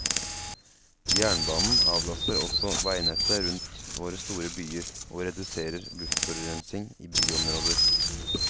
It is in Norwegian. Jernbanen avlaster også veinettet rundt våre store byer, og reduserer luftforurensning i byområder.